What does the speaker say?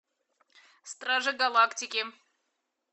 стражи галактики